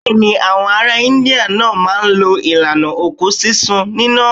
Bẹ́ẹ̀ ni, àwọn ará India náà máa ń lo ìlànà òkú sísun níná.